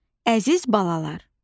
Əziz balalar!